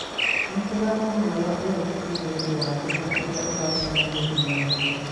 Nĩ tũrakũhoya ũrekeri nĩ ũndũ wa thĩna ũrĩa ũracemanirie naguo.